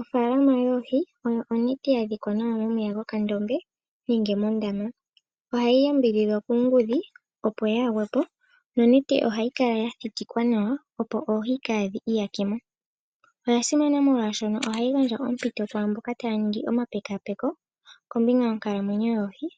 Ofaalama yoohi oyo onete yadhikwa nawa momeya mokandombe nenge mondama. Ohayi yambidhidhwa kuungudhi opo kaayi gwepo nonete ohayinkala yathitikwa nawa opo oohi kadhiiyakemo. Oyasimana molwaashono ohayi gandja ompito kwaamboka taya ningi omapekapeko kombinga yonkalamwenyo dhoohi